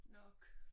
Nok